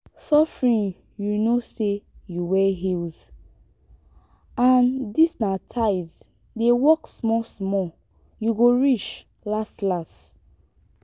suffering you know say you wear heels and dis na tyles dey walk small small. you go reach las las